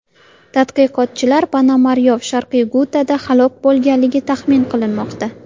Tadqiqotchilar Ponomaryov Sharqiy Gutada halok bo‘lganligini taxmin qilmoqda.